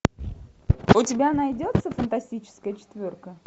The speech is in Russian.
у тебя найдется фантастическая четверка